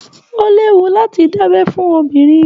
O léwu láti da'bẹ fún obìnrin.